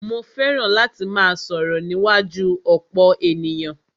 Mó fẹràn láti máà sọ̀rọ̀ níwájú ọ̀pọ̀ ènìyàn.